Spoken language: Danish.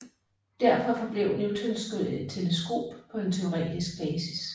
Derfor forblev Newtons teleskop på en teoretisk basis